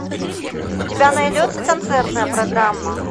у тебя найдется концертная программа